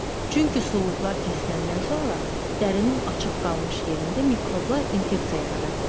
Çünki suluqlar kəsiləndən sonra dərinin açıq qalmış yerində mikrobla infeksiya yarada bilər.